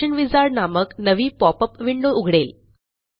function wizard नामक नवी popup window उघडेल